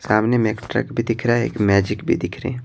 सामने में एक ट्रक भी दिख रहा है एक मैजिक भी दिख रहे है।